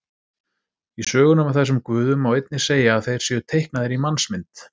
Í sögunum af þessum guðum má einnig segja að þeir séu teiknaðir í mannsmynd.